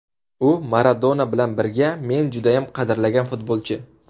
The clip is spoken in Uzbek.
U Maradona bilan birga men judayam qadrlagan futbolchi.